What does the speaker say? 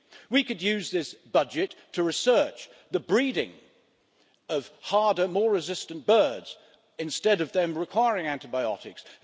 We could use this budget to research the breeding of harder, more resistant birds, instead of them requiring antibiotics.